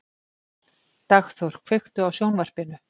Dagþór, kveiktu á sjónvarpinu.